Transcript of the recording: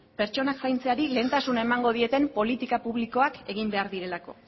pertsona zaintzeari lehentasuna emango dieten politika publikoak egin behar direlako